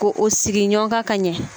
Ko o sigi ɲɔgɔn kan ka ɲɛ